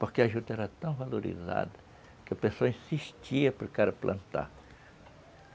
Porque a juta era tão valorizada que o pessoal insistia para o cara plantar.